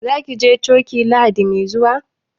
Za ki je coki Lahadi mai zuwa?